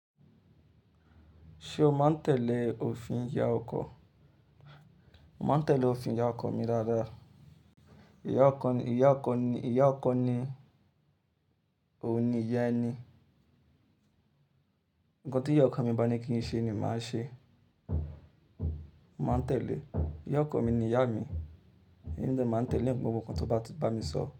Ṣé o máa ń tẹ̀lé òfin ìyá ọkọ? Mo máa ń tẹ̀lé òfin ìyá ọkọ mi dáadáa. Ìyá ọkọ ni, ìyá ọkọ ni, ìyá ọkọ ni òun ni ìyá ẹni. Ǹkan tí ìyá ọkọ mi bá ní kí n ṣe ni màá ṣe. Mo máa tẹ̀lé. Ìyá ọkọ mi ni ìyá mi. Emí de máa n tẹ̀lé gbogbo nkan tó bá ti bá mi sọ.